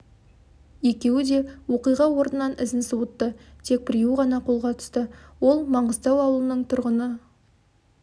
екеуі де оқиға орнынын ізін суытты тек біреуі ғана қолға түсті ол маңғыстау ауылының жастағы тұрғыны